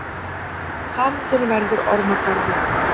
Hamingjan verður ormagarður.